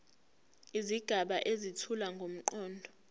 izigaba ezethula ngomqondo